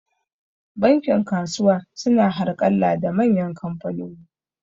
Bankin kasuwa su na harƙalla da manyan kamfanoni